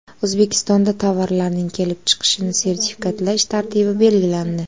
O‘zbekistonda tovarlarning kelib chiqishini sertifikatlash tartibi belgilandi.